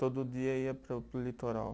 Todo dia ia para o, para o litoral?